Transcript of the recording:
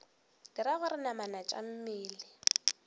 dira gore namana tša mmele